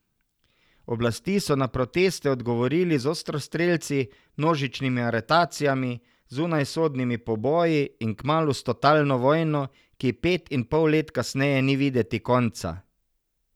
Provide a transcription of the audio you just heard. Oblasti so na proteste odgovorili z ostrostrelci, množičnimi aretacijami, zunajsodnimi poboji in, kmalu, s totalno vojno, ki ji pet in pol let kasneje ni videti konca.